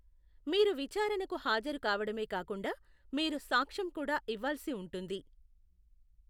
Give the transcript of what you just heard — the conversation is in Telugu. మీరు విచారణకు హాజరు కావడమే కాకుండా, మీరు సాక్ష్యం కూడా ఇవ్వాల్సి ఉంటుంది.